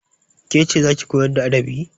Ke ce za ki koyar da adabi?